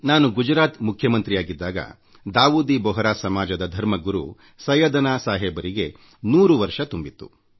ನಾನು ಗುಜರಾತ್ ಮುಖ್ಯಮಂತ್ರಿಯಾಗಿದ್ದಾಗ ದಾವೂದಿ ಬೊಹರಾ ಸಮಾಜದ ಧರ್ಮಗುರು ಸೈಯ್ಯದನಾ ಸಾಹಿಬ್ ಅವರಿಗೆ ನೂರು ವರ್ಷ ತುಂಬಿತ್ತು